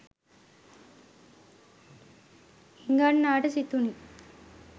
හිඟන්නාට සිතුනි.